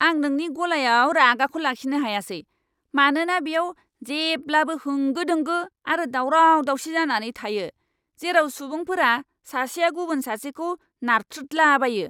आं नोंनि गलायाव रागाखौ लाखिनो हायासै, मानोना बेयाव जेब्लाबो होंगो दोंगो आरो दावराव दावसि जानानै थायो, जेराव सुबुंफोरा सासेया गुबुन सासेखौ नारथ्रोदलाबायो!